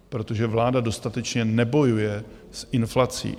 Protože vláda dostatečně nebojuje s inflací.